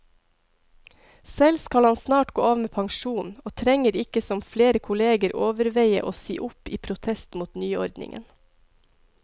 Selv skal han snart gå av med pensjon, og trenger ikke som flere kolleger overveie å si opp i protest mot nyordningen.